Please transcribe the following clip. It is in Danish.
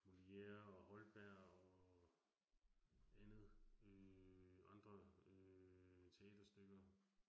Molière og Holberg og, andet øh andre øh teaterstykker